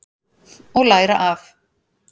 Og læra af.